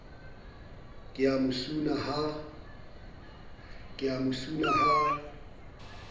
ke a mo suna ha